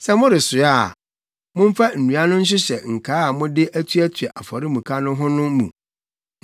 Sɛ moresoa a, momfa nnua no nhyehyɛ nkaa a mode atuatua afɔremuka no ho no mu.